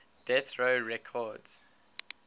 death row records